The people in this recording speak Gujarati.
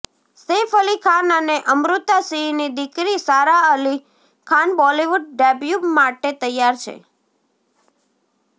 સૈફ અલી ખાન અને અમૃતા સિંહની દીકરી સારા અલી ખાન બોલિવુડ ડેબ્યૂ માટે તૈયાર છે